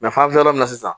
an bɛ yɔrɔ min na sisan